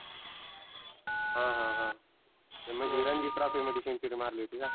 हं हं हं म्हणजी रनजी trophy मध्ये century मारली होती का?